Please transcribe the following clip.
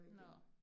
Nåh